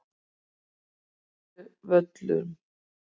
Litluvöllum